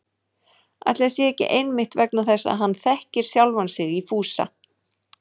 Ætli það sé ekki einmitt vegna þess að hann þekkir sjálfan sig í Fúsa